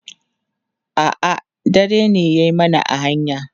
a'a dare ne ya mana a hanya